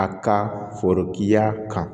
A ka forotigiya kan